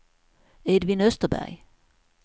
Edvin Österberg